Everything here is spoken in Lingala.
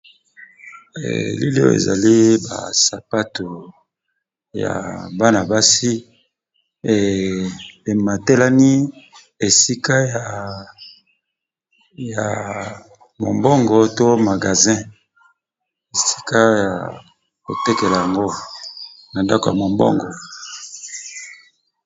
Elili oyo ezali basapato ya bana basi bazolakisa biso eza nakati ya boutique